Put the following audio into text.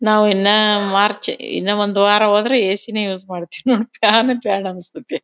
ನಾವು ಇನ್ನ ಮಾರ್ಚ್ ಇನ್ನ ಒಂದ್ ವಾರ ಹೋದ್ರೆ ಎಸಿನೆ ಯೂಸ್ ಮಾಡ್ತಿವಿ ಫ್ಯಾನೆ ಬೇಡ ಅನ್ಸ್ತಾಯಿತೇ.